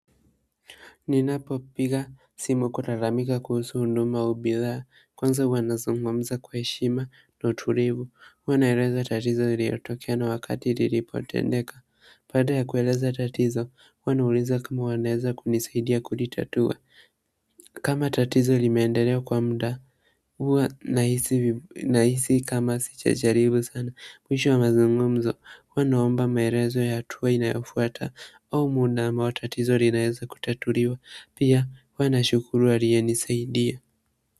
Ninapopiga simu kulalamika kuhusu huduma au bidhaa, kwanza huwa nazungumza kwa heshima na utulivu, huwa naeleza tatizo iliyotokea na wakati lilipotendeka. Baada ya kueleza tatizo, huwa nauliza kama wanaeza kunisaidia kulitatua. Kama tatizo limeendelea kwa mda, huwa nahisi kama sijajaribu sana. Mwisho wa mazungumzo huwa naomba maelezo ya hatua inayofuata au muda ambao tatizo linaeza kutatuliwa pia huwa nashukuru aliyenisaidia.